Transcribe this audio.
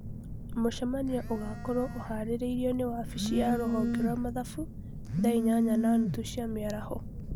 Mũcemanio ũgaakorũo ũhaarĩirio nĩ wabici ya rũhonge rwa mathabu thaa inyanya na nuthu cia mĩaraho